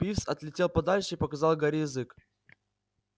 пивз отлетел подальше и показал гарри язык